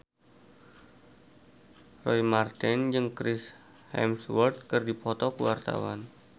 Roy Marten jeung Chris Hemsworth keur dipoto ku wartawan